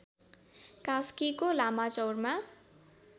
कास्कीको लामाचौरमा